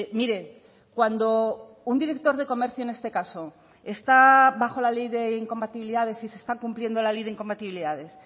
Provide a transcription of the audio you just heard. mire cuando un director de comercio en este caso está bajo la ley de incompatibilidades y se está cumpliendo la ley de incompatibilidades